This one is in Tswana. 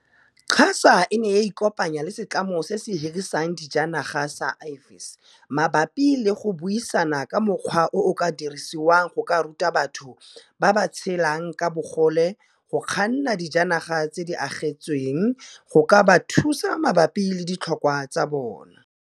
QASA e ne ya ikopanya le setlamo se se hirisang dijanaga sa Avis maba pi le go buisana ka ga mokgwa o o ka dirisiwang go ka ruta batho ba ba tshelang ka bogole go kganna dijanaga tse di agetsweng go ka ba thusa mabapi le ditlhokwa tsa bona.